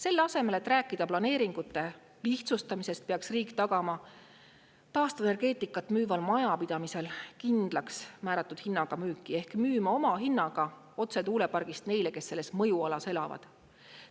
Selle asemel, et rääkida planeeringute lihtsustamisest, peaks riik tagama taastuvenergeetikat müüval majapidamisel kindlaksmääratud hinnaga müüki ehk müüma omahinnaga otse tuulepargist neile, kes selles mõjualas elavad.